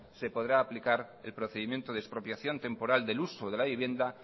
se podrá aplicar el procedimiento de expropiación temporal del uso de la vivienda